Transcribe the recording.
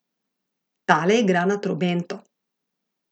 Tale igra na trobento.